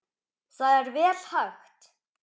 Það er vel hægt.